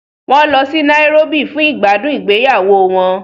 Wọ́n lọ sí Nairobi fún ìgbádùn ìgbéyàwó wọn.